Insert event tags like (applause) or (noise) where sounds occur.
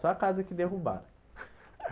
Só a casa que derrubaram. (laughs)